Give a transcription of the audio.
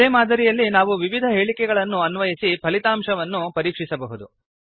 ಇದೇ ಮಾದರಿಯಲ್ಲಿ ನಾವು ವಿವಿಧ ಹೇಳಿಕೆಗಳನ್ನು ಅನ್ವಯಿಸಿ ಫಲಿತಾಂಶವನ್ನು ಪರೀಕ್ಷಿಸಬಹುದು